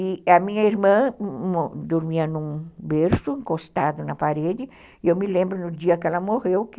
E a minha irmã dormia num berço, encostado na parede, e eu me lembro no dia que ela morreu que